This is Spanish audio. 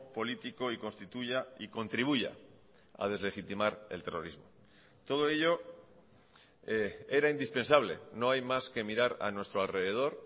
político y constituya y contribuya a deslegitimar el terrorismo todo ello era indispensable no hay más que mirar a nuestro alrededor